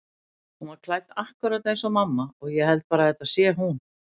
Hún er klædd akkúrat eins og mamma og ég held bara að þetta sé hún.